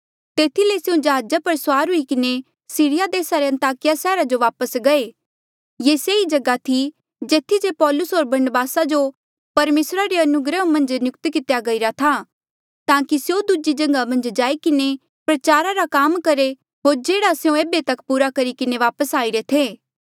तेथी ले स्यों जहाजा पर सुआर हुई किन्हें सीरिया देसा रे अन्ताकिया सैहरा जो वापस गये ये सेई जगहा ई जेथी जे पौलूस होर बरनबासा जो परमेसरा रे अनुग्रह मन्झ नियुक्त कितेया गईरा था ताकि स्यों दूजी जगहा मन्झ जाई किन्हें प्रचारा रा काम करहे होर जेह्ड़ा तिन्हें एेबे पुरा करी किन्हें वापस आईरे थे